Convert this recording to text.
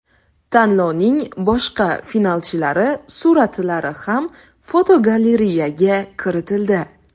Tanlovning boshqa finalchilari suratlari ham fotogalereyaga kiritildi.